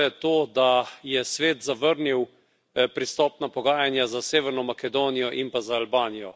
To je to, da je Svet zavrnil pristopna pogajanja za Severno Makedonijo in pa za Albanijo.